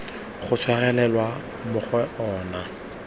go tshwarelelwa mo go ona